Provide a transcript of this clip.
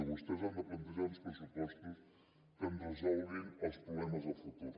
vostès han de plantejar uns pressupostos que ens resolguin els problemes de futur